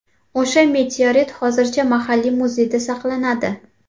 O‘sha meteorit hozirda mahalliy muzeyda saqlanadi.